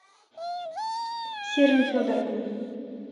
серым федоровым